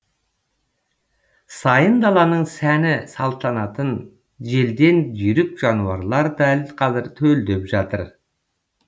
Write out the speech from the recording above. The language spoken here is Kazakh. сайын даланың сәні салтанатын желден жүйрік жануарлар дәл қазір төлдеп жатыр